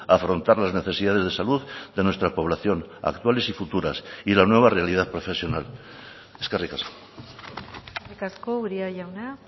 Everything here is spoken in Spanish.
afrontar las necesidades de salud de nuestra población actuales y futuras y la nueva realidad profesional eskerrik asko eskerrik asko uria jauna